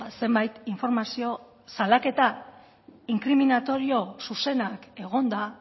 zenbait informazio salaketa inkriminatorio zuzenak egonda